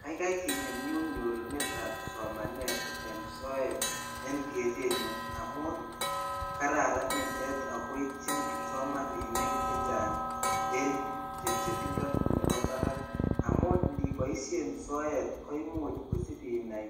Kaikai kinyumnyum nyorunetab somanet en soet en kerenyun amun kararan nitet ak ko ityin kipsomaninik chechang' en chebchebindo nebo barak amun ndiboishen soet koimuch isib inaai